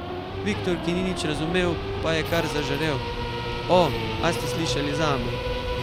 Viktor, ki ni nič razumel, pa je kar zažarel: 'O, a ste slišali zame?